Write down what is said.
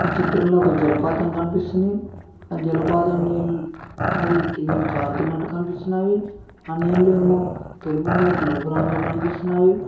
ఈ చిత్రంలో ఒక జలపాతం కనిపిస్తుంది ఆ జలపాతం నీల్ అవి కిందికి జారుతున్నట్టు కనిపిస్తున్నావి ఆ నీళ్ళు ఏమో తెలుపు మరియు నలుపు రంగులో కనిపిస్తున్నావి.